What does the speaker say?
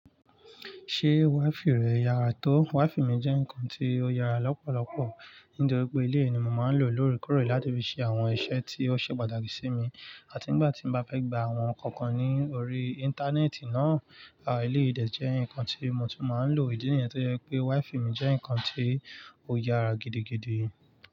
Ṣé WiFi rẹ yàrá tó? WiFi mi jẹ́ nǹkan tí ó yàrá lọ́pọ̀lọpọ̀ nítorí pé ilé mi máa ń lò ó lóòrèkóòrè láti fi ṣe àwọn iṣẹ́ tí ó ṣe pàtàkì sí mi àti ìgbà tí mo bá fẹ́ gba àwọn ǹkan kan ní orí Íńtánẹ́ẹ̀tì náà. À, eléyìdẹ̀ jẹ́ nǹkan tí mo tún máa ń lò. Ìdí nìyẹn tó jẹ́ pé WiFi mi jẹ́ nǹkan tí ó yàrá gidigidi.